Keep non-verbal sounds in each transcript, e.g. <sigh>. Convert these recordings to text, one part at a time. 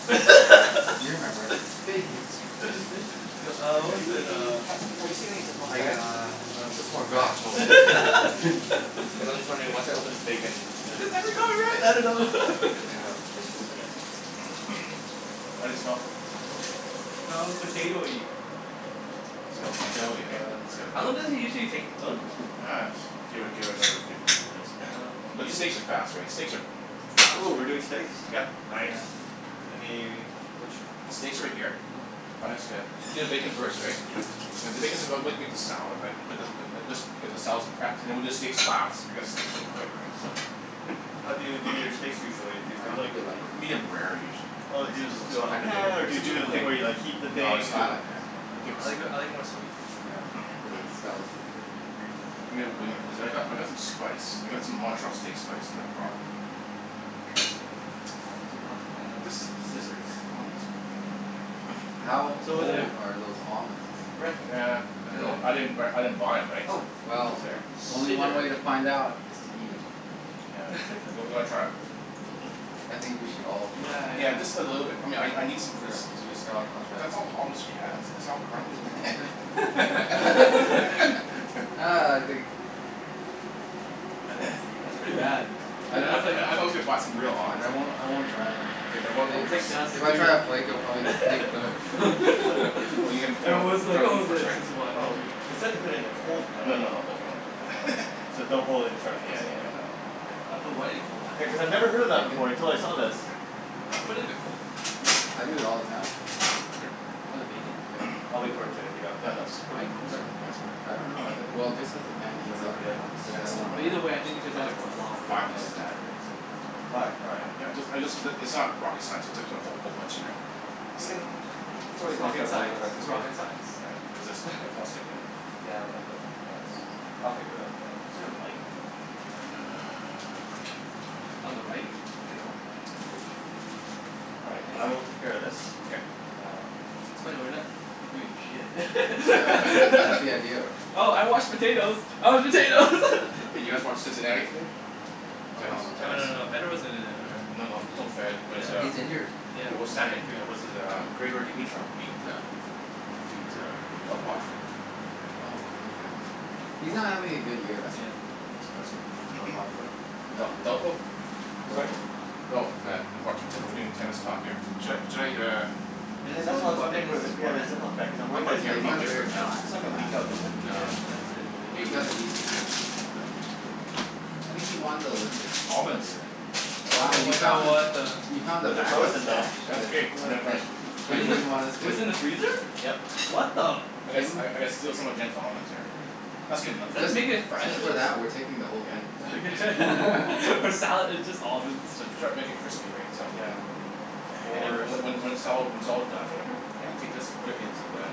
thing. Yeah. You <laughs> remember. "Bacon strips" <noise> These look Uh pretty what was Do it, good. we uh ha- have you seen any zip lock I bags? uh Uh zip lock bag? forgot. No. <laughs> Okay. <laughs> Hey, I was just wondering, once I open this bacon, what's the Have we got it right? I don't know. It would be <laughs> good to Yeah. have a place to put it. How do they smell? Smells potatoey. Smells potatoey, right? It's got How a long bit does it usually take to cook? Uh, just give it give it another fifteen minutes. Oh, okay. But steaks are fast, right? Steaks are fast, Ooh, we're doing right? steaks? Yep. Nice. Any, which Steaks are right here. uh-huh. I guess uh, you do the bacon first, right? Yeah, I'll do <inaudible> this <inaudible> make the salad, right. Put the put this put the just get the salad's prepped, and then we'll do the steaks last, because steaks are so quick, right. So How do you do your steaks usually? Do you I do don't like think you'll like this the one though. Medium rare, usually. Oh Oh is do you it just a do it It's on the song? kind of bitter. pan, or do you do the thing where you like heat the No, let's thing But and do it I on the like it. pan. Keep it I like simple I <noise> like it more sweet. Yeah. The Stella's would be good for you. I mean when, cuz I've got Uh I've got some spice. I got some Montreal steak spice that I brought. Uh, here is the I do not have scissors. How It's over there. old are those almonds? Rick, Nah, there. I don't know. I didn't b- I didn't buy 'em, right? Oh, So thank you Well sir. Only one way to find Scissors. out, is to eat 'em. Yeah. You w- you wanna try 'em? <laughs> I think we should all Yeah, try. Yeah. yeah. Just a little bit. I mean I n- I need some Yeah, I'll I'll <inaudible> try. That's all the almonds she has? These are all crumbs. <laughs> <laughs> Ah, I think That's <noise> that's pretty bad. I But di- <inaudible> I was like you a box of real it's fine, almonds. I won't I won't try. Okay. Then It what was like dust, <noise> If I try a flake I'll dude. probably deplete the <laughs> <laughs> It was like, oh it's just one or Oh, two. it said to put it in a cold No, pan. no, no. Don't put it in a cold pan. <laughs> So don't follow the Yeah instructions. yeah yeah, no no. Okay. Put what in a cold pan? Yeah, cuz I've never heard of that before until I saw this. Here. Oh, I put it in the cold. I do it all the time. What, the Here. bacon? Yeah. <noise> I'll wait for it to heat up Yeah, and no, then just put Why it in cold? in <inaudible> Sure? just I don't put it in. know. Well, <noise> just as the pan Should I heats wait up, for the other ones? cuz Yeah. I That's don't too wanna But many. either <inaudible> way, I think There's because it probably adds like a lot of f- oil five pieces and in there. fat, right, so Five? All right. Yeah. I just I just, it's not rocket science. It's just, put a whole bunch in there. We can, it's It's always nice to rocket have a little bit science. of extra It's <noise> bacon. rocket Yeah. This science. is all <laughs> sticking here. Yeah, a little bit. That's, I'll figure it out. Yeah. Is there a light? Uh On the right. Here you go. Thank you. All right, I will take care of this. Okay. And That's funny, we're not doing shit. <inaudible> <laughs> that's the idea of her. Oh, I washed the potatoes. I washed potatoes. <laughs> Hey, did you guys watch Cincinnati today? Tennis. Oh Oh no, no no Tennis? no. no. Federer wasn't in it, or No, no. There's no Fed, but uh He's injured. Yeah, But what's his back name, injury. uh what's his uh, Grigor Dimitrov beat uh beat uh Del Potro Oh, okay. He's not Awesome. having a good That's year. Yeah. cool. That's cool. Del <noise> Potro? Uh, D- Delpo? Sorry? Oh, yeah. <inaudible> We're doing tennis talk here. Should I should I, uh And Yeah, his that's only why I was weapon wondering is wh- his if we had a forehand zip though? lock bag because I'm I'll worried that put it it's Yeah, here, gonna he's leak. I'll got put it a here very for now. flat It's and not gonna leak fast out, is forehand. it? Nah. Yeah. But that's it, right? You <inaudible> got Hey! a decent <inaudible> That's pretty much it. I think he won the Olympic Almonds. Wow, Oh you my god, found what the the You found the But they're back up frozen now. stash That's okay. I'm gonna I'm Yeah. That Just you Wasn't microwave it, didn't gonna <inaudible> them? want us it to was in the freezer? Yep. What the I gotta st- I Kim I gotta steal some of Jen's almonds here. That's good enough. Is that to make it fresh Just or for s- that, we're taking the whole Yeah. thing. Okay. <laughs> <laughs> For salad. It's just almonds. So to try and make it crispy, right. So Yeah. <noise> <noise> And then, More and so- when when it's all, when it's all done, or whatever Yeah. You take this, put it into the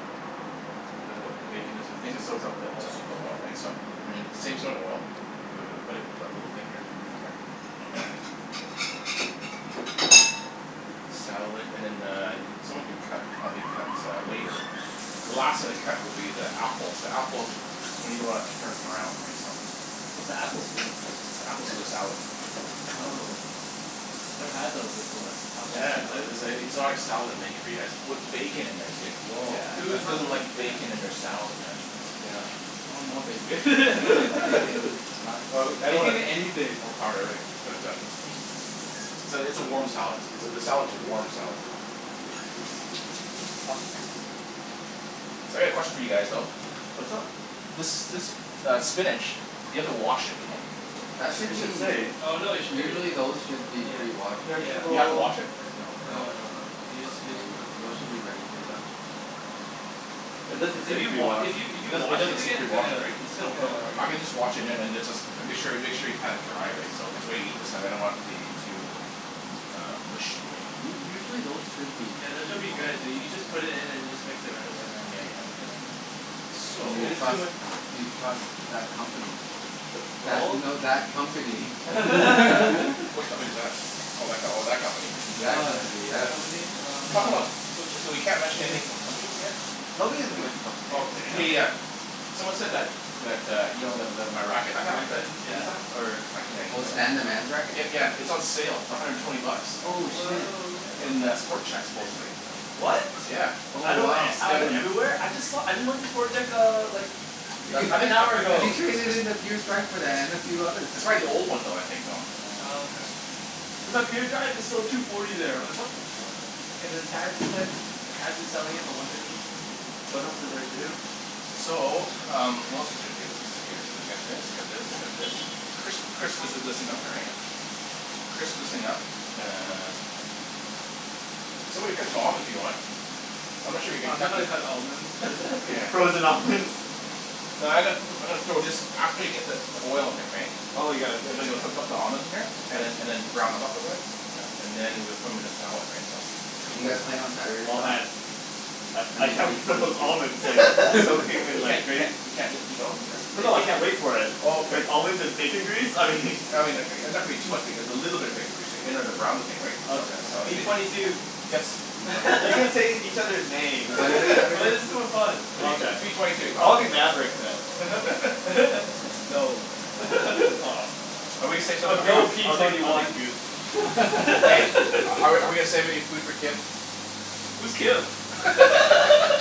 the, the bacon into the thing To soak up the It oil. soaks up the oil, right. So, and then save some of the oil. We're gonna put it in our little thing here. Okay. <noise> Salad and then the, someone could cut, help me cut uh later. The last thing to cut will be the apples. The apples, you don't wanna turn brown, right, so What's the apples for? The apple's for the salad. Oh. Never had those before. Apple in a Yes. salad. It's a exotic style that I'm making for you guys, with bacon in there too. Woah. Whose That sounds doesn't good. like Yeah. Yeah. bacon in their salad, man? Yeah. I want more bacon. <laughs> Bacon, nuts. Oh I w- I don't wanna Bacon anything. overpower the herb but uh. <noise> So, it's a warm salad. It's a, the salad's a warm salad though. So, I got a question for you guys though. What's up? This this uh spinach, do you have to wash it, do you think? That should It should be say. Oh no they sh- Usually those should <noise> be Yeah. pre-washed. Here's the Do you have to bowl. wash it? No. No, no. Yeah. Those should be ready to Yeah. go. It doesn't If say you wa- pre-washed. if you if It you doesn't it wash doesn't it say again it's pre-washed, gonna right? it's gonna wilt, I right? Yeah. can just wash it and then it's just, make sure y- make sure you pat it dry, right? So cuz when we eat this I don't want the it to be um too uh mushy, right? U- usually those should be Yeah. This should be good. You you just put it in and you just mix it right away. Yeah yeah yeah. S- So Do you it's too trust much. do you trust that company? That, no that <noise> company. <laughs> Which company is that? Oh, that co- that company. That Oh, company, yeah, that yes. company. Uh Talk about, uh so, so we can't mention anything about companies here? No, we didn't mention company Okay, names, yeah. yeah. Someone said that that, uh, you know the the my racket I Can have, I <inaudible> that use that or I can, yeah, I'll Oh, use Stan the that. man's racket? Yeah, yeah. It's on sale for a hundred and twenty bucks. Oh Oh shit. wow. In the Sport Chek supposedly. What? Yeah. Oh I know, wow. I went everywhere. I just saw, I just went to Sport Chek uh, like half an hour You ago. traded in <inaudible> and a few others. It's probably the old one though, I think, you know. Oh, Oh. okay. Cuz up here, the drive is still two forty there. Like what the fuck <inaudible> selling it for one fifty. What else is there to do? So, um what else is there to do here, what's here, you got this, you got this, you got this. Crisp, crisp this is <inaudible> up here, right? Okay. Crisp this thing up uh Somebody cut them almonds, if you want. I'm not sure you can Uh I'm not cut gonna cut almonds. the Yeah. Frozen almonds. No, I'm gonna put, I'm gonna throw this after you get the the oil in there, right. Oh, you're gonna put it in there? <inaudible> the almonds in here. And then and then brown them up a bit. Yeah. And then, we'll put them 'em in the salad, right. So You Ooh. guys playing on Saturday, Oh Don? man. I I I mean can't P wait for twenty those two. almonds like <laughs> soak your <laughs> hand You like can't you can't <inaudible> you can't eat eat almonds, or? Oh no I can't wait for it. Oh, okay. Like almonds and bacon grease, I mean I mean like, and that would be too much because a little bit of bacon grease there, you know, to brown the thing, right. So, Okay, P whatever. if it twenty two. Yes? Are you playing? You can say each other's names. <laughs> That is <inaudible> too fun. Okay. P twenty two. I'll be Maverick then. <laughs> No. <laughs> Aw. Are Or we No, Goose. P I'll gonna take twenty I'll say take one. Goose. something? Are we <laughs> are we gonna save any <laughs> food for Kim? Who's Kim? <laughs>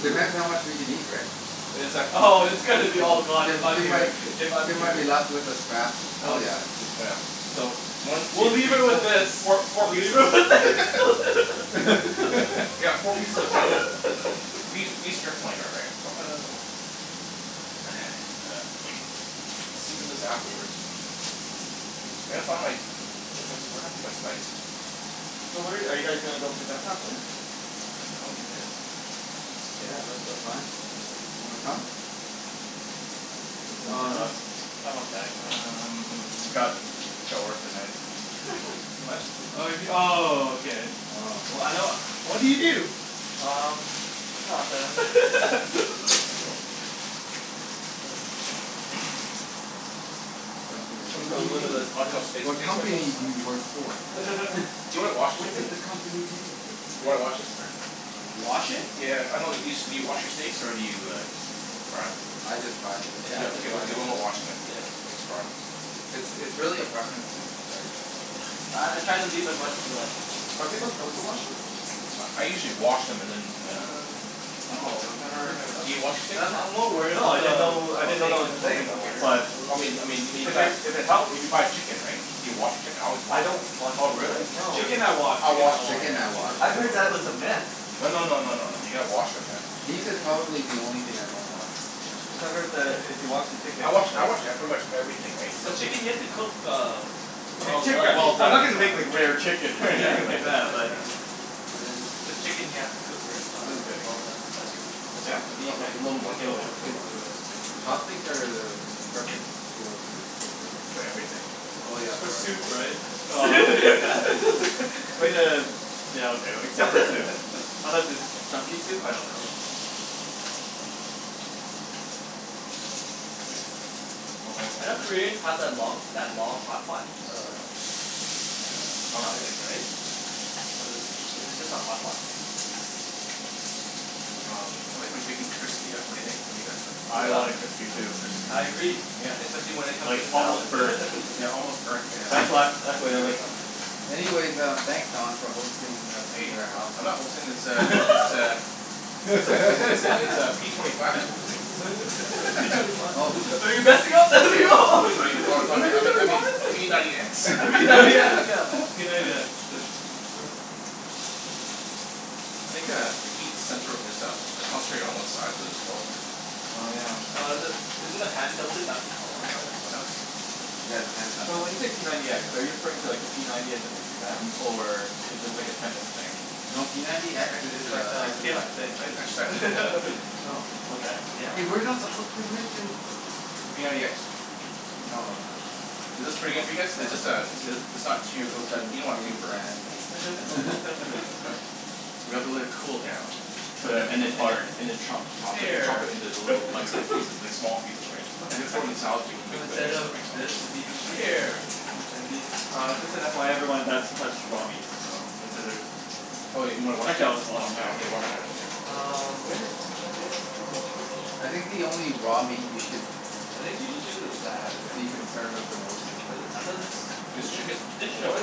Depends how much we can eat, right? Oh, it's gonna be all gone Kim if I'm Kim here, might if I'm Kim might here. be left with the scraps. Oh, yeah. Dude. Oh yeah. So, one, two, We'll three, leave her with fo- this. four four We'll leave pieces her with this. <laughs> We got four pieces of tender <laughs> beef beef strip loin though, right? So. <noise> Then sear this afterwards. I gotta find my, where's my, what happened to my spices? So where are you guys gonna go play tennis this afternoon? <noise> I don't need this. Yeah, that's the plan. Wanna come? Play some Oh no, tennis. I'm okay. <noise> I got Um. <inaudible> work tonight <laughs> What? Oh you m- oh, okay. Oh. I know <noise> what do you do? Um, nothing. There <noise> you <laughs> go. <noise> The question is Put a put "What do a you little bit do? of this Montreal steak What steak spice on company this do you <inaudible> work for?" <laughs> Do you wanna wash it "What for does me? the company do?" Do you wanna wash this or? Wash it? Yeah. I know it used to be, do you wash your steaks or do you just fry 'em? I just fry them. Yeah. Okay, okay, we're not washing then. Yeah. Just fry 'em. It's it's really a preference thing, right. Uh I try to leave in much blood. Are people supposed to wash them? I I usually wash them and then and then Uh Oh, I've never Do you wash steaks Uh I'm I'm or? more worried No. about I didn't the know I didn't know steak that was a absorbing thing. the Okay. water. But I mean, I mean, if you if buy, it if it helps if you buy chicken, right? Do you wash your chicken? I always I wash don't wash the Oh, really? chicken. No. Chicken I wash, I chicken wash I wash. chicken. Chicken Yeah. I wash I've for heard sure. that was a myth. No no no no. You gotta wash 'em, man. Beef is probably the only thing I don't wash. Cuz Yeah. I've heard that if you wash the chicken I wash I wash, yeah, pretty much everything, right, so The chicken you have to cook uh I mean well chicken, done. Well I'm not done. gonna make like rare chicken Yeah, <laughs> like that's why I was like, yeah But chicken you have to cook wer- uh well done as <inaudible> well. That's good. Yeah? No, no. A little Little more, more. little more. Chopsticks are the perfect tool to cook bacon. For everything. Oh yeah. For soup, right? <laughs> Way to, yeah okay, except for soup. <laughs> Unless it's chunky soup, I don't know. Yeah. I know Koreans have that long that long hot pot, uh Chopstick, Chopstick? right? Was it, is it just a hot pot thing? I like my bacon crispy, yeah? What do you think? What do you guys think? I want it crispy too. I agree. Especially when it comes to Like the almost salad. burnt. <laughs> Yeah, almost burnt, right, That's so what, that's the way I like it. Anyways, um, thanks Don for hosting us in Hey, your house. I'm not hosting this uh, this uh <laughs> <laughs> It's like, it's it's it's uh p twenty five who's hosting. <laughs> P twenty five <laughs> Oh. I mean, oh no, I mean, I me- I mean, p ninety x <inaudible> <laughs> <laughs> P ninety x, <laughs> yeah, p ninety x. <noise> I think uh, the heat center is uh, concentrated one side of the stove here. Oh yeah. Uh the, isn't the pan tilted back on one side as Yeah, well? that's okay. Yeah, the pan's not So when tilted. you say p ninety x, are you referring to like the p ninety as in like the gun? Or is this like a tennis thing? No, p ninety x X is is like uh the Kim exercising I need an exercise thing. <laughs> <inaudible> Oh, okay. Yeah. Hey, we're not supposed to mention P ninety x? No. Is Oh this pretty good well, for you guys? It's never just uh mind. it's it's not too, You guys both started you don't wanna too naming burnt, brands and that's the thing. <inaudible> <laughs> We have to let it cool down. And then and then and <inaudible> then, chop chop it chop Hair it into little <laughs> bite size pieces, like small pieces, right. You Okay. gotta I throw it in can the do salad, so we that. can No, mix and instead mix it, of right, so this, it'd be Mkay. hair. And it'd be Uh just an FYI <laughs> everyone, that's touched raw meat. So, consider Oh, you you wanna wash Actually your I'll hand? wash them now. Yeah. Wash your hands, <laughs> yeah. Um where is the detergent? I think the only raw meat you should It think she just uses that, be right? concerned of the most is But I poultry, thought right. This chicken? <inaudible> dish soap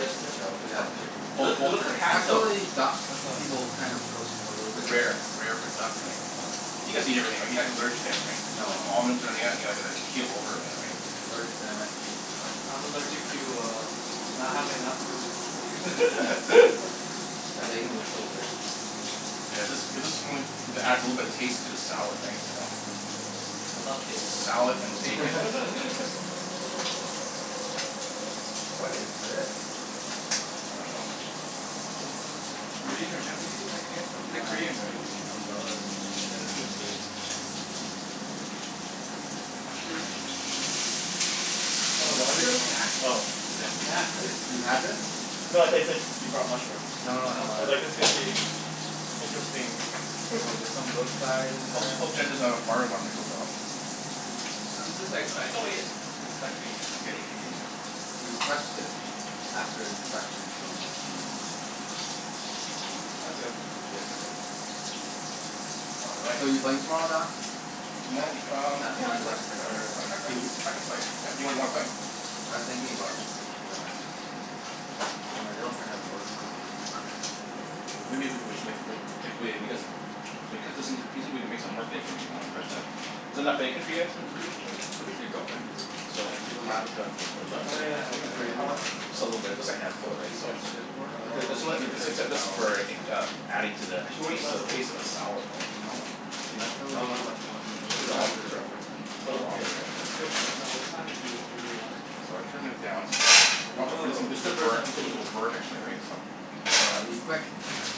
Is it Yeah, what? of chicken. It Poul- looks it poultry, looks like right? hand soap, Actually, I duck, thought. people kind of cook a little bit Rare, rare. rare for duck, Yeah. right? You guys eat everything, right? You're not allergic to anything? No no no Almonds or any no. of that? You're not gonna keel over or any of that, right? I'm allergic to MSG. Uh I'm allergic to uh not having enough Okay. food <laughs> That bacon looks so good. Yeah. This, is this the one that adds a little bit of taste to the salad, right? So Yeah. I love taste. Salad and bacon. <laughs> <laughs> What is this? I dunno. Sort of Korean or Japanese It's like, <noise> some it's uh like sort Korean, right? of umbrella that's, yeah, this is Korean. Some mushrooms? Some kind of snack? <inaudible> It's a snack, right? You've had this? No, I said I said you brought mushrooms. No no I no was like, this <noise> is gonna be interesting. <laughs> Oh, there's some Brookside in Hope there. t- hope Jen doesn't have a fire alarm that goes off. I'm just expect- like inspecting it. You've touched it after inspection so unless you eat 'em I'm Mm, good. legit, right? All right. So, you playing tomorrow, Don? Tomo- um yeah I I can I <inaudible> can Or I can I c- Huey? I can play, yeah. You wanna play? I was thinking about it, but uh. My girlfriend has work so Maybe we c- we sh- <inaudible> if we cut this into the pieces, we can make some more bacon, if you want? But uh is that enough bacon for you guys? What does your wh- what does your girlfriend do? So, So, we she's a lab can tech. put the nuts Oh yeah It's open in for you, how <inaudible> much? hospital. <inaudible> Just a little bit. Just a handful, So right. she So gets shift Um work. <inaudible> Her shift is not always the same. adding to the But she works tas- to less the days, taste of the right? salad, right? No. Do you want, I dunno know Actually, how much you want. she works These are quite a alm- bit these of are overtime. Oh whole okay. almonds right? That's good though. Is that overtime if you if you really wanted? So I turned it down. So watch out for this one Woah, this it's the one's first time burnt, I'm this seeing one will this. burn actually right so I'll be quick.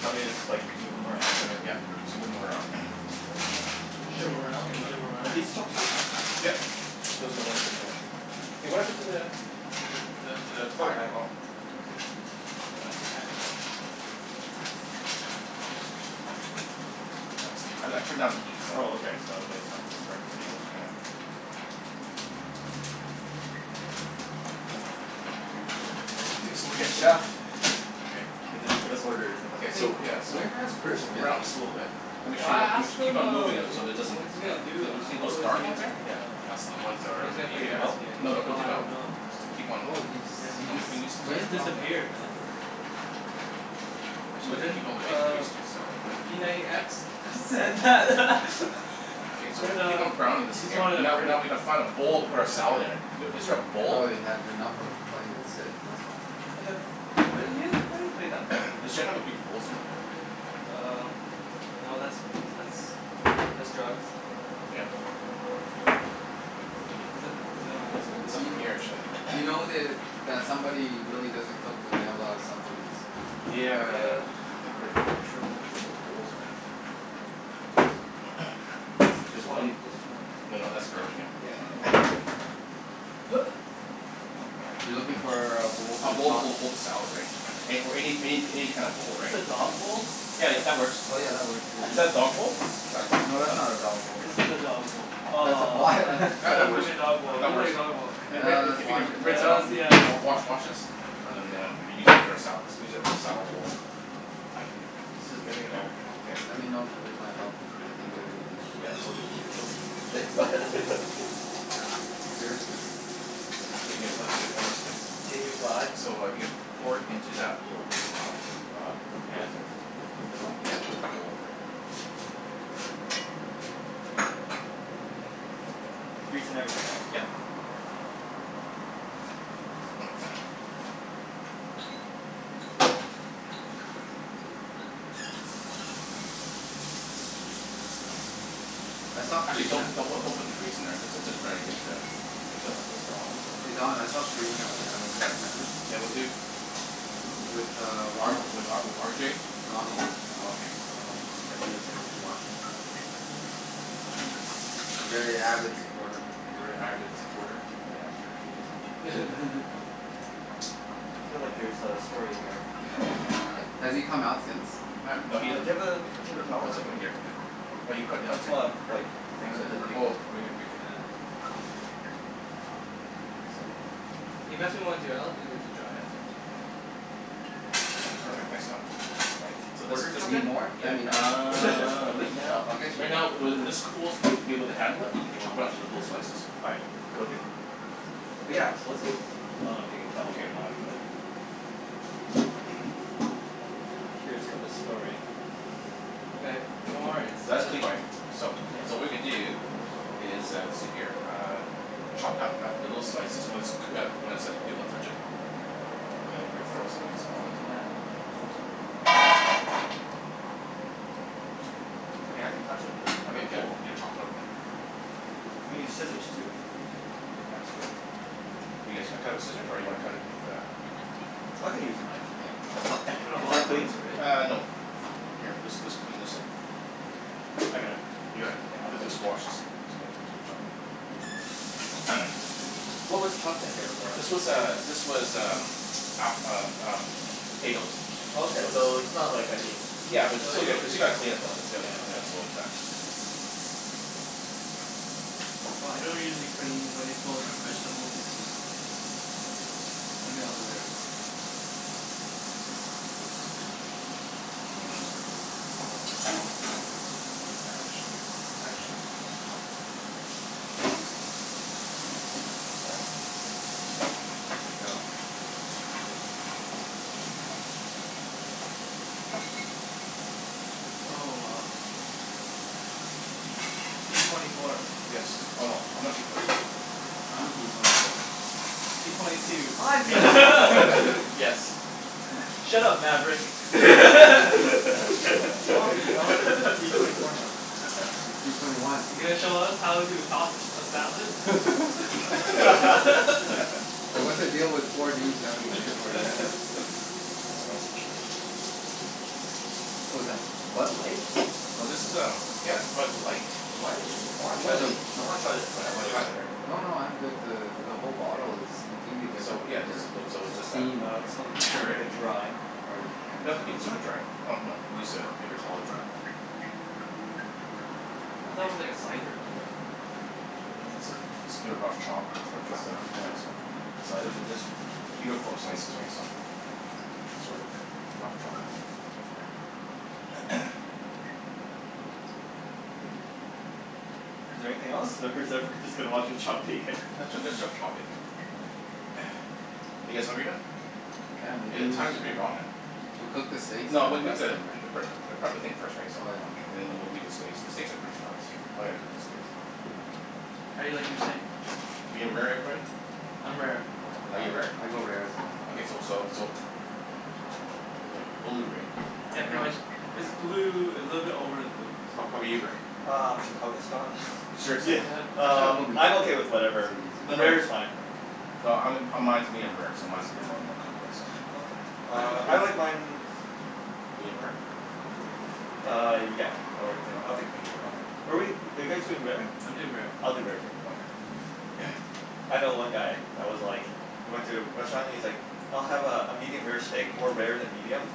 Want me to just like, move them around, or? Yep. Just move 'em around. <noise> There you go. Bouge Shit. them It's around. good Bouge enough. them Are around. these chopsticks? Yep. Okay. <inaudible> Hey what happened to the the the the the the fire, oh. <inaudible> No elastic band? Thanks. I I turned down the heat so Oh okay. So that's not gonna burn <inaudible> Yeah yeah. Okay so we Yes get to chef. K. <inaudible> Give us orders and Ok then So so yeah, so where has Chris so been? brown this a little bit. Make Okay. sure I you, you asked ma- keep him on uh moving them wh- so it wh- doesn't, what he's gonna do, you don't see uh those what was dark the ones uh, here? like Yep. uh That's all the ones that are when he's gonna gonna play be Take them uh. tennis out? again and he's No no, like don't "Oh take I them out. don't know. I Just don't know." keep on Oh he just, keep he on just moving these Yeah. ones He here. quit? just Oh. disappeared man. Actually we But could then keep all the bacon uh grease too, so. p ninety x said that Okay <laughs> so we said keep uh on browning he this just again, wanted a now break. now we need to find a bowl No to put our salad idea. in. Is there a bowl? Probably had enough of playing with Sid. That's why. <laughs> But then you you haven't played that much with <noise> Does him. Jen have a big bowl somewhere? Um, no, that's that's that's drugs. Yeah. Is that is that on There's this one? Y- nothing here actually. you <noise> know that, that somebody really doesn't cook when they have a lot of supplements. Yeah. Yeah. I think we're having trouble with where the bowls are at. <noise> This is Just white, fine, just more. no no, that's a garbage Yeah. can. <laughs> <laughs> <noise> You're looking for uh a bowl A to bowl to toss hold hold the hold the salad right, or any any any kind of Is bowl this right. a dog bowl? Yeah, yeah, that works. Oh yeah, that works. Is that a dog bowl? That's not a dog, No, that's that's not not a dog a bowl. This is a dog bowl. That's a Aw I pot. thought I <laughs> thought That that that was gonna works. be a dog bowl, it That looked works. like a dog bowl. <noise> Hey Rick if Let's if you wash can it. rinse that out, Hells yes. wa- wa- wash wash this. And then uh re-use it for a sala- let's use it as a salad bowl. This is getting there. Okay. Let me know if you need my help. I can do anything. Yeah, well it would it would kill the heat. <laughs> Yeah, seriously. It's pretty good. It looks good, it looks good. Can you fly? So, uh, you could pour it into that little uh uh pan This there. one? This one? Yeah. Little bowl there. Yep. Grease and everything, right? Yep. <noise> I saw Actually don't, Karina don't don't put the grease in there, just uh just try to get the get the Just <inaudible> Hey Don, I <inaudible> saw Karina when I went to that tournament. Yeah, with who? With uh R Ronald. with uh with R J? Ronald. Oh okay. Ronald, yeah he was there too watching. Very avid supporter. A very avid supporter? Yeah, I'm sure he is. <laughs> I feel like there's a story here. Has he come out since? Um Uh no, do he doesn't you ta- have a paper towel, I Let's all can put it here Here, for now. here. Well you put it I down just here. wanna wipe the things Oh right <noise> here, <inaudible> paper towel. Thank you sir. Can you pass me one too <inaudible> Perfect, thanks a lot. Right, So what this is just just, Need happened? more? Let yeah, me know. uh, right now, <laughs> I'll get you right more. now, when this when this cools and you'll be able to handle it. You can chop it up into little <inaudible> slices. Alright, cool dude. But yeah, so what's this? I don't know if you can tell me or not but <noise> I'm curious about this story. Okay, no worries. <inaudible> That's clean right. So, Yeah. so what we're gonna do is uh see here. Uh chopped up little slices when it's cook- when it's like, you be able to touch it, and then you gonna be- throw some of these almonds in here. I mean I can touch them, Okay. they're Yeah <inaudible> you need to chop it up now. We need scissors too. It'd be faster. You guys cu- cut it with scissors? Or you wanna cut it with uh I can use a knife. Yeah. <noise> Put it Is all that at clean? once, right? Uh, no. Here this this clean this up. Okay. I got it. You Yeah, got it? I'll clean Just just wash this thing. <inaudible> <noise> What was chopped in here before? This was uh this was um app- um um potatoes. Okay, So so just it's not like I need Yeah but No, still you got- don't still need gotta clean it though, it's gotta, Yeah. yeah, so it's not Well I don't usually clean when it goes from vegetables to meat. Only the other way around. Yeah. Only the other way around. Actually. Actually. Sorry. There we go. Oh uh p twenty four. Yes. Oh no. I'm not p twenty four. I'm p twenty four. P twenty two. I'm p twenty four. <laughs> Yes. Shut up Maverick. <laughs> Aw I wanna spea- I wanna speak with p twenty four now. P twenty one. You gonna show us how to toss a salad? <laughs> <laughs> And what's the deal with four dudes having a dinner party <inaudible> <noise> <laughs> What was that? Bud Light? No this is um, yeah, Bud Light, What? I wanna <noise> try What the this the I wanna try this radler wanna try? later. No no, I'm good. The the whole bottle is completely So different yeah, than just, their those, so it's just a. theme. Uh Oh, the Make can? it's, sure. like a dry. Or their Doesn't can, have to sorry. be Is super it? dry. Oh no, use a paper towel to dry. I thought it was like a cider or something. <inaudible> Let's do a rough chop put this Rough into chop? stuff, yeah Okay. so. So I literally just Uniform slices right so. Sorta, rough chopping <noise> Is there anything else or is everyone just gonna watch me chop bacon? Let's <laughs> ju- let's just chop bacon. <noise> Are you guys hungry now? Yeah, Hey maybe the we time's should pretty wrong uh. Should we cook the steaks No and we'll then make rest the, them pre- right? pre- prep the thing first right so Oh yeah, no no. and then we'll make the steaks, the steaks are pretty fast. I'm gonna cook the steaks. How do you like your steak? Medium rare, everybody? I'm rare. <noise> Are Yeah, you rare? I go rare as well. Okay so so so But like blue, right? Yeah pretty No. much, is blue, a little bit over than blue How how 'bout basically. you Rick? Uh Chicago style <laughs> yeah, Seriously? <laughs> Actually I'll um go I'm medium rare. okay with It's whatever, the easier No no, rare is fine. no, um mine mine is medium rare so mine's mine's gonna be more more <inaudible> cooked right so. Okay, uh I like mine Medium rare? Uh yeah, I'll take, I'll Okay. take medium rare. Okay. But wait, are you guys doing rare? I'm doing rare. I'll do rare too. Okay. <noise> I know one guy that was like, he went to a restaurant and he's like, "I'll have uh a medium rare steak, more rare than medium."